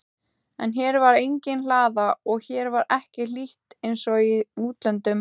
En hér var engin hlaða og hér var ekki hlýtt einsog í útlöndum.